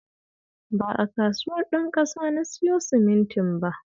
Ba a Kasuwar Ɗanƙasa na siyo simintin ba